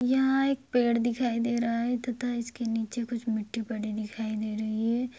यहाँ एक पेड़ दिखाई दे रहा है तथा इसके नीचे कुछ मिट्टी पड़ी दिखाई दे रही है।